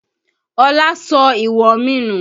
Ọlá sọ ìwọ̀n mi nù